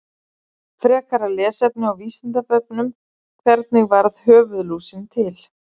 Frekara lesefni á Vísindavefnum: Hvernig varð höfuðlúsin til?